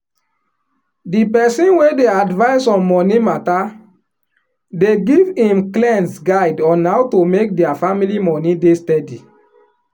di person wey dey advice on money matter dey give him clients guide on how to make dia family money dey steady